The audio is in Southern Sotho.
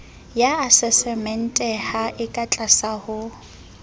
ya asasementeha e katlase ho